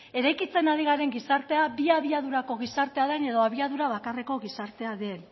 eraikitzen ari garen gizartea bi abiadurako gizartea den edo abiadura bakarreko gizartea den